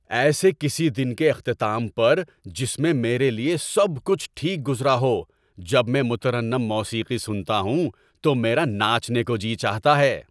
ایسے کسی دن کے اختتام پر جس میں میرے لیے سب کچھ ٹھیک گزرا ہو جب میں مترنم موسیقی سنتا ہوں تو میرا ناچنے کو جی چاہتا ہے۔